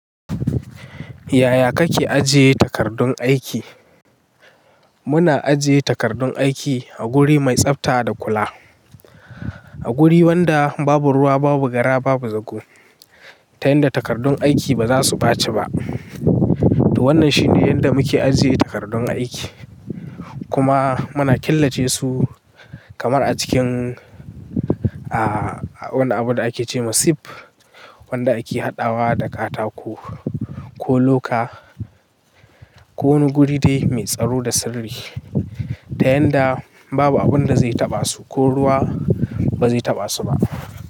Yaya kake ajiye takardun aiki? Muna ajiye takardun aiki a guri mai tsafta da kula. A guri wanda babu ruwa, babu gara, babu zago. Ta yanda takardun aiki baza su ɓaci ba. To wannan shi ne yanda muke ajiye takardun aiki. Kuma muna killace su kamar a cikin, a wani abu da ake ce ma sif, wanda ake haɗawa da katako ko loka, ko wani guri dai mai tsaro da sirri. Ta yanda babu abun da zai taɓa su, ko ruwa ba zai taɓa su ba.